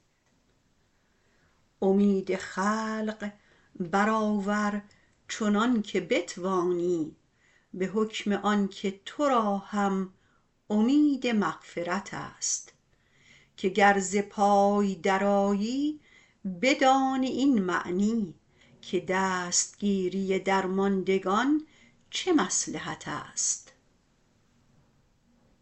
امید خلق برآور چنانکه بتوانی به حکم آنکه تو را هم امید مغفرتست که گر ز پای درآیی بدانی این معنی که دستگیری درماندگان چه مصلحتست